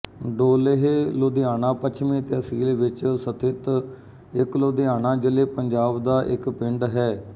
ਡੋਲੇਹ ਲੁਧਿਆਣਾ ਪੱਛਮੀ ਤਹਿਸੀਲ ਵਿਚ ਸਥਿਤ ਇੱਕ ਲੁਧਿਆਣਾ ਜ਼ਿਲ੍ਹੇਪੰਜਾਬ ਦਾ ਇੱਕ ਪਿੰਡ ਹੈ